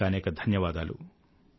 అనేకానేక ధన్యవాదాలు